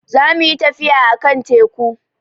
Za mu yi tafiya a kan teku